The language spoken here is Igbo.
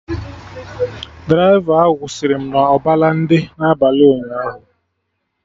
Draịva ahụ kwụsịrị m na Ọbalende n'abalị ụnyaahụ